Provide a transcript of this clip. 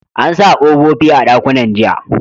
An sa kofofi a dakunnan jiya